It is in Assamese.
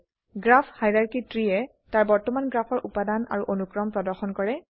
গ্ৰাফ হাইৰাৰ্কী ত্ৰী এ তাৰ বৰ্তমান গ্ৰাফৰ উপাদান আৰু অনুক্ৰম প্ৰদৰ্শন কৰে